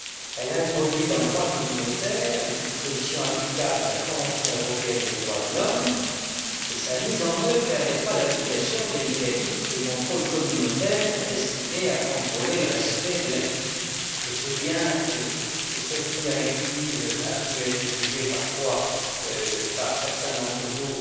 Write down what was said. Elle introduit dans le droit communautaire les dispositions applicables de la Convention européenne des droits de l'homme et sa mise en œuvre permettra l'application des mécanismes de contrôle communautaire destinés à contrôler le respect de l'acquis. Je sais bien que cette directive a pu être jugée parfois, par certains d'entre vous,